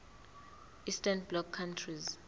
eastern bloc countries